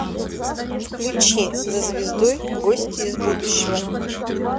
включи за звездой гости из будущего